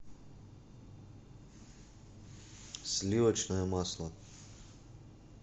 сливочное масло